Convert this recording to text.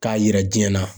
K'a jira diɲɛ na